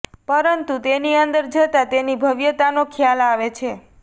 પરંતુ તેની અંદર જતા તેની ભવ્યતાનો ખ્યાલ આવે છે